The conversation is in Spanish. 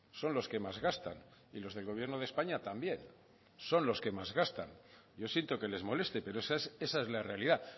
son los que más gastan y los del gobierno de españa también son los que más gastan yo siento que les moleste pero esa es la realidad